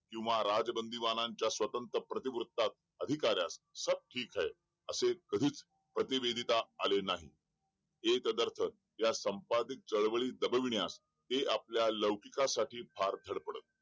किंवा राज बंदीवानांच्या स्वतंत्र प्रति वृत्तास अधिकाऱ्यास सब ठीक है असे कधीच प्रति वेदीता आले नाही एक दर्पण या संपादित चळवळीस दाबविण्यास ते आपल्या लौकिक साठी भार दडपडत